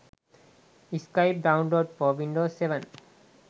skype download for windows 7